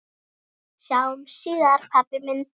Sjáumst síðar pabbi minn.